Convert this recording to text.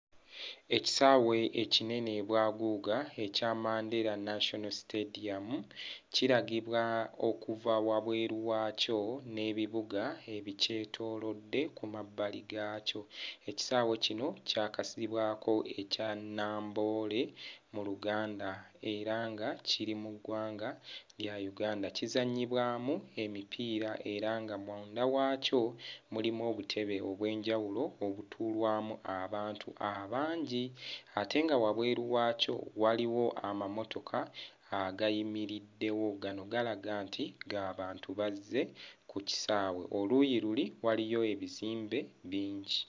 Ekisaawe ekinene bwaguuga ekya Mandela National Stadium kiragibwa okuva wabweru waakyo n'ebibuga ebikyetoolodde ku mabbali gaakyo, ekisaawe kino kyakazibwako ekya Namboole mu Luganda era nga kiri mu ggwanga lya Uganda kizannyibwamu emipiira era nga munda waakyo mulimu obutebe obw'enjawulo obutuulwamu abantu abangi ate nga wabweru waakyo waliwo amamotoka agayimiriddewo, gano galaga nti g'abantu bazze ku kisaawe, oluuyi luli waliyo ebizimbe bingi.